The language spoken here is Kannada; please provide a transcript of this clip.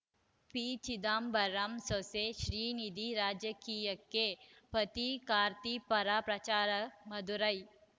ಪಿಚಿದಂಬರಂ ಸೊಸೆ ಶ್ರೀನಿಧಿ ರಾಜಕೀಯಕ್ಕೆ ಪತಿ ಕಾರ್ತಿ ಪರ ಪ್ರಚಾರ ಮದುರೈ